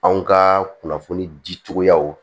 Anw ka kunnafoni dicogoyaw